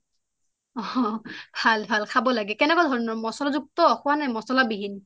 অ ভাল ভাল খাব লাগে কেনেকুৱা ধৰণৰ খোৱা মচলা যুক্ত খোৱা নে নে মচলা বিহীন